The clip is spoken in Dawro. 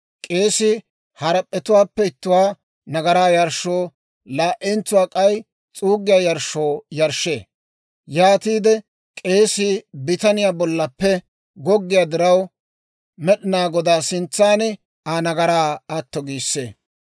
K'eesii harap'p'etuwaappe ittuwaa nagaraa yarshshoo, laa"entsuwaa k'ay s'uuggiyaa yarshshoo yarshshee; yaatiide k'eesii bitaniyaa bollaappe goggiyaawaa diraw Med'inaa Godaa sintsan Aa nagaraa atto giissee.